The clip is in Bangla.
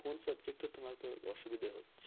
কোন subject এ তোমার অসুবিধা হচ্ছে?